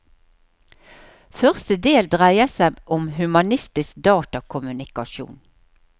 Første del dreier seg om humanistisk datakommunikasjon.